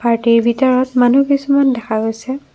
পাৰ্টিৰ ভিতৰত মানুহ কিছুমান দেখা গৈছে।